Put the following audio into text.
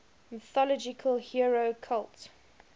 mythological hero cult